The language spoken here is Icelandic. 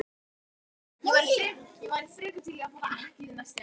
Björn: Það er óljóst?